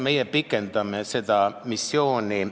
Meie pikendame seda missiooni.